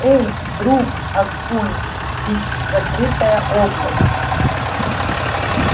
эй друг асконь ведь закрытая область